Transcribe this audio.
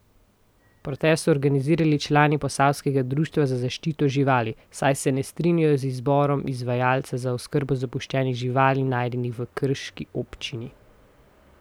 Protest so organizirali člani posavskega društva za zaščito živali, saj se ne strinjajo z izborom izvajalca za oskrbo zapuščenih živali najdenih v krški občini.